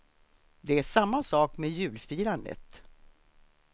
Det är samma sak med julfirandet.